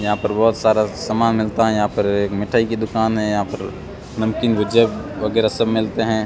यहां पर बहोत सारा समान मिलता है यहां पर एक मिठाई की दुकान है यहां पर नमकीन भुजिया वगैरा सब मिलते हैं।